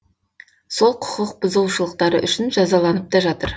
сол құқық бұзушылықтары үшін жазаланып та жатыр